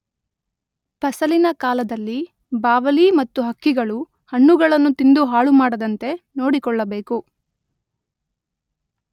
ಫಸಲಿನ ಕಾಲದಲ್ಲಿ ಬಾವಲಿ ಮತ್ತು ಹಕ್ಕಿಗಳು ಹಣ್ಣುಗಳನ್ನು ತಿಂದು ಹಾಳುಮಾಡದಂತೆ ನೋಡಿಕೊಳ್ಳಬೇಕು.